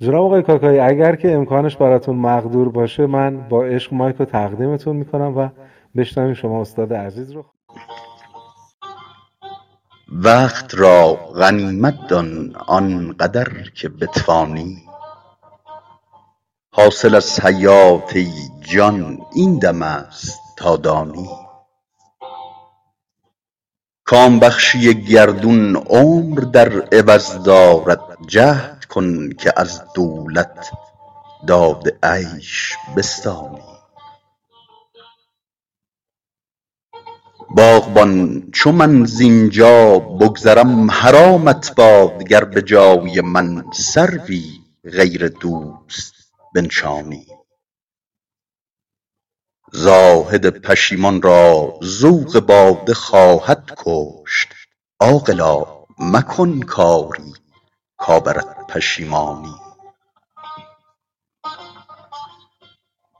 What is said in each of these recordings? وقت را غنیمت دان آن قدر که بتوانی حاصل از حیات ای جان این دم است تا دانی کام بخشی گردون عمر در عوض دارد جهد کن که از دولت داد عیش بستانی باغبان چو من زین جا بگذرم حرامت باد گر به جای من سروی غیر دوست بنشانی زاهد پشیمان را ذوق باده خواهد کشت عاقلا مکن کاری کآورد پشیمانی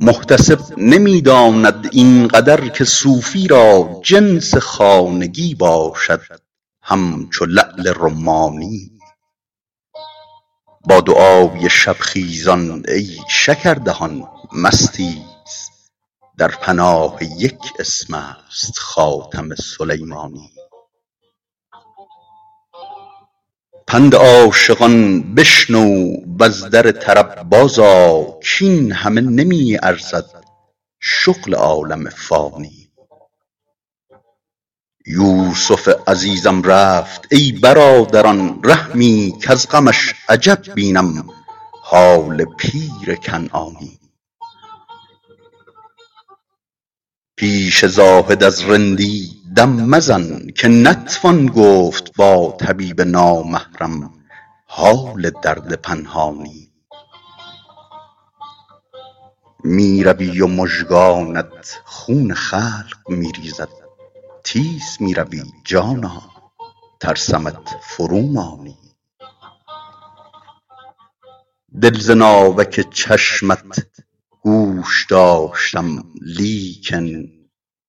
محتسب نمی داند این قدر که صوفی را جنس خانگی باشد همچو لعل رمانی با دعای شب خیزان ای شکردهان مستیز در پناه یک اسم است خاتم سلیمانی پند عاشقان بشنو و از در طرب بازآ کاین همه نمی ارزد شغل عالم فانی یوسف عزیزم رفت ای برادران رحمی کز غمش عجب بینم حال پیر کنعانی پیش زاهد از رندی دم مزن که نتوان گفت با طبیب نامحرم حال درد پنهانی می روی و مژگانت خون خلق می ریزد تیز می روی جانا ترسمت فرومانی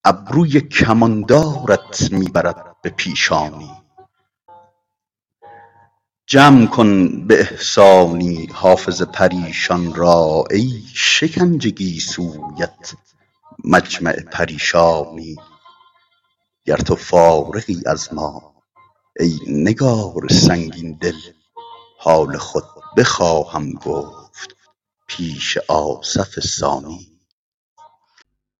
دل ز ناوک چشمت گوش داشتم لیکن ابروی کماندارت می برد به پیشانی جمع کن به احسانی حافظ پریشان را ای شکنج گیسویت مجمع پریشانی گر تو فارغی از ما ای نگار سنگین دل حال خود بخواهم گفت پیش آصف ثانی